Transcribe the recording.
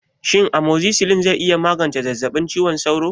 Shin amozzisilin zai iya magance zazzabin cizon sauro?